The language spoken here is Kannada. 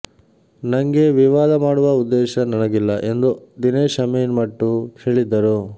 ನಂಗೆ ವಿವಾದ ಮಾಡುವ ಉದ್ದೇಶ ನನಗಿಲ್ಲ ಎಂದು ದಿನೇಶ್ ಅಮೀನ್ ಮಟ್ಟು ಹೇಳಿದರು